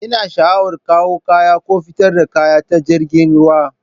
Ina sha'awar kawo kayan ko fitar da kaya ta jiragen ruwa